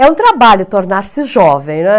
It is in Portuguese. É um trabalho tornar-se jovem, né?